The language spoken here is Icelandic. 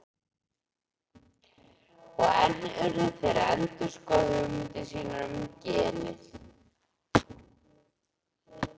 Og enn urðu þeir að endurskoða hugmyndir sínar um genið.